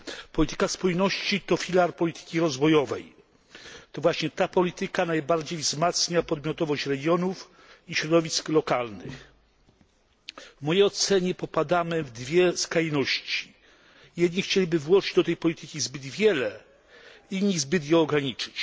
Polityka spójności to filar polityki rozwojowej. To właśnie ta polityka najbardziej wzmacnia podmiotowość regionów i środowisk lokalnych. W mojej ocenie popadamy w dwie skrajności. Jedni chcieliby włożyć do tej polityki zbyt wiele, inni zbyt ją ograniczyć.